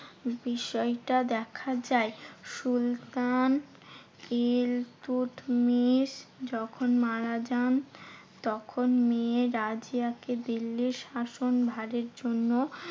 বিষয়টা দেখা যায়। সুলতান ইলতুৎমিশ যখন মারা যান, তখন মেয়ে রাজিয়াকে দিল্লির শাসনভারের জন্য